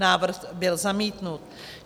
Návrh byl zamítnut.